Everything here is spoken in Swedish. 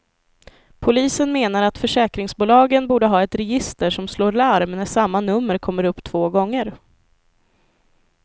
Polisen menar att försäkringsbolagen borde ha ett register som slår larm när samma nummer kommer upp två gånger.